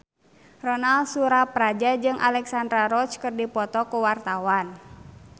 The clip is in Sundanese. Ronal Surapradja jeung Alexandra Roach keur dipoto ku wartawan